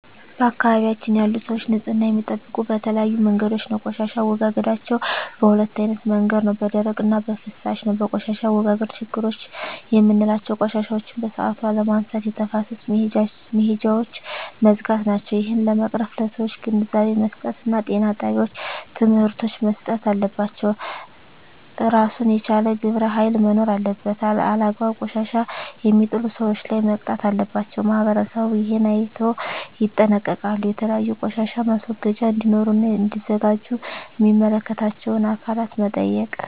በአካባቢያችን ያሉ ሰዎች ንፅህና የሚጠብቁ በተለያዩ መንገዶች ነው ቆሻሻ አወጋገዳቸዉ በ2አይነት መንገድ ነው በደረቅ እና በፍሳሽ ነው በቆሻሻ አወጋገድ ችግሮች ምላቸው ቆሻሻዎችን በሠአቱ አለመነሳት የተፋሰስ መሄጃውች መዝጋት ናቸው እሄን ለመቅረፍ ለሠዎች ግንዛቤ መስጠት እና ጤና ጣቤዎች ትምህርቶች መሰጠት አለባቸው እራሱን የቻለ ግብረ ሀይል መኖር አለበት አላግባብ ቆሻሻ የሜጥሉ ሠዎች ላይ መቅጣት አለባቸው ማህበረሠቡ እሄን አይነቶ ይጠነቀቃሉ የተለያዩ ቆሻሻ ማስወገጃ እዴኖሩ እና እዲዘጋጁ ሚመለከታቸው አካላት መጠየቅ